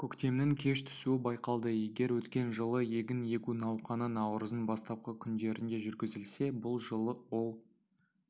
көктемнің кеш түсуі байқалды егер өткен жылы егін егу науқаны наурыздың бастапқы күндерінде жүргізілсе бұл жылы ол